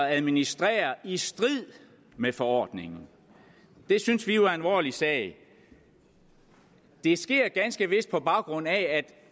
administrerer i strid med forordningen det synes vi jo er en alvorlig sag det sker ganske vist på baggrund af at